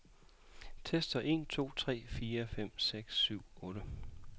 Tester en to tre fire fem seks syv otte.